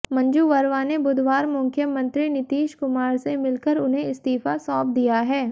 मंजू वर्मा ने बुधवार मुख्यमंत्री नीतीश कुमार से मिलकर उन्हें इस्तीफा सौंप दिया है